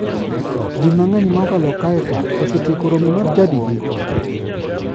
Ji mang'eny ma okalo kae ka osetieko romo mar chadigi?